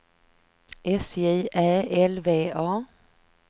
S J Ä L V A